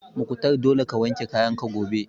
Mukhtar dole ka wanke kayan ka gobe!